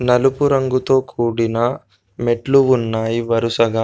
నలుపు రంగుతో కూడిన మెట్లు ఉన్నాయి వరుసగా.